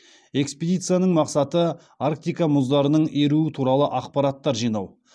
экспедицияның мақсаты арктика мұздарының еруі туралы ақпараттар жинау